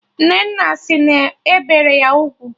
Nnenna sị na e bere ya ugwu